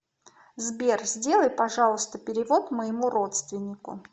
сбер сделай пожалуйста перевод моему родственнику